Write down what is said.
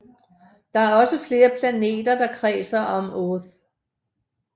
Der er også flere planeter der kredser om Oerth